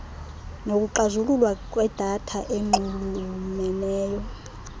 nokucazululwa kwedata enxulumeneyo